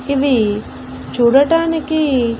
ఇవి చూడటానికి.